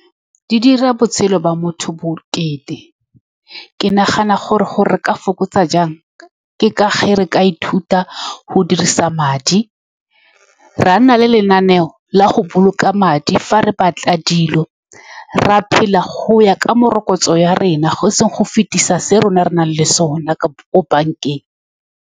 Di dira botshelo ba motho bokete. Ke nagana gore re ka fokotsa jang, ke ka ge re ka ithuta go dirisa madi, ra nna le lenaneo la go boloka madi. Fa re batla dilo, ra phela go ya ka morokotso ya rena, go se ngogofetisa se rona re nang le sone ka ko bank-eng.